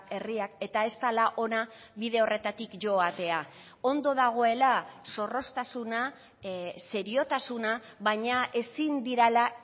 herriak eta ez dela ona bide horretatik joatea ondo dagoela zorroztasuna seriotasuna baina ezin direla